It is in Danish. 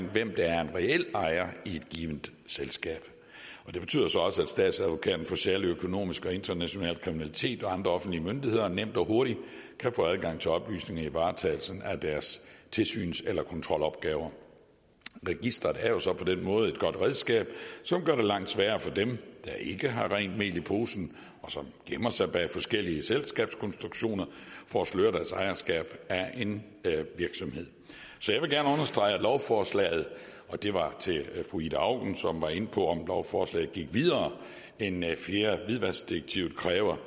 hvem der er en reel ejer i et givent selskab det betyder så også at statsadvokaten for særlig økonomisk og international kriminalitet og andre offentlige myndigheder nemt og hurtigt kan få adgang til oplysninger i varetagelsen af deres tilsyns eller kontrolopgaver registeret er jo på den måde et godt redskab som gør det langt sværere for dem der ikke har rent mel i posen og som gemmer sig bag forskellige selskabskonstruktioner for at sløre deres ejerskab af en virksomhed så jeg vil gerne understrege at lovforslaget og det var til fru ida auken som var inde på om lovforslaget gik videre end fjerde hvidvaskdirektiv kræver